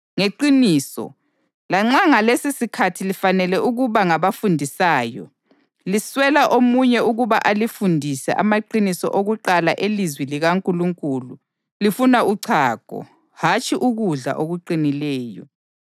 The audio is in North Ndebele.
Ngeqiniso, lanxa ngalesisikhathi lifanele ukuba ngabafundisayo, liswela omunye ukuba alifundise amaqiniso okuqala elizwi likaNkulunkulu. Lifuna uchago, hatshi ukudla okuqinileyo!